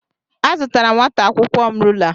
Azụtara nwata akwụkwọ m rula.